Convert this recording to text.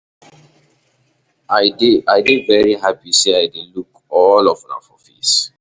I dey i dey very happy say I dey look all of una for face.